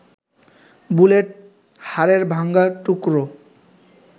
bullet, হাড়ের ভাঙা টুকরো